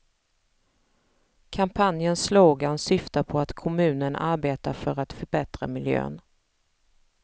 Kampanjens slogan syftar på att kommunen arbetar för att förbättra miljön.